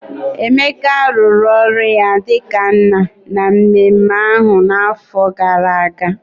Emeka rụrụ ọrụ ya dị ka nna na mmemme ahụ n'afọ gara aga